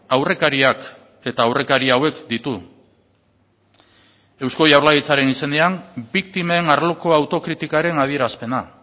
aurrekariak eta aurrekaria hauek ditu eusko jaurlaritzaren izenean biktimen arloko autokritikaren adierazpena